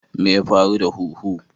Me ya faru da huhu?